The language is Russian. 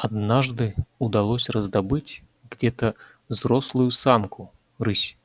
однажды удалось раздобыть где-то взрослую самку рысь